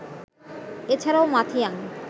এছাড়াও মাথিয়াং